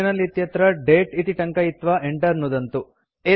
terminal इत्यत्र दते इति टङ्कयित्वा enter नुदन्तु